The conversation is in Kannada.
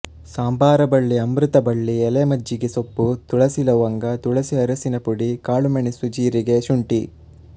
ಸಂಬಾರ ಬಳ್ಳಿ ಅಮೃತ ಬಳ್ಳಿ ಎಲೆ ಮಜ್ಜಿಗೆ ಸೊಪ್ಪು ತುಳಸಿಲವಂಗ ತುಳಸಿ ಅರಸಿನ ಪುಡಿ ಕಾಳುಮೆಣಸುಜೀರಿಗೆಶುಂಠಿ